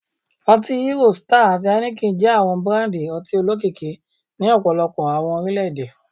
Oti Hero, Star, ati Heineken jẹ awọn burandi ọti olokiki ni ọpọlọpọ awọn orilẹ-ede